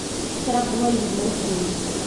Ixtiraam uma lihid madaxdiina.